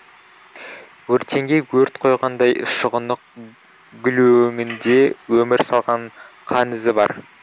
өртеңге өрт қойғандай шұғынық гүлөңінде өмір салған қан ізі бар